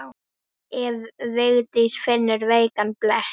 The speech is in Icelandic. Ef Vigdís finnur veikan blett.